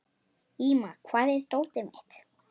Íma, hvar er dótið mitt?